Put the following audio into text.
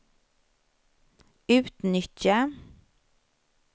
utnyttja